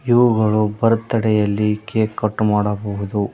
ಇವುಗಳು ಬರ್ತಡೇ ಯಲ್ಲಿ cake cut ಮಾಡಬಹುದು.